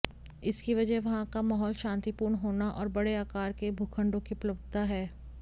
इसकी वजह वहां का माहौल शांतिपूर्ण होना और बड़े आकार के भूखंडों की उपलब्धता है